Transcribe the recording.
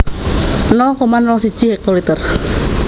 nol koma nol siji hektoliter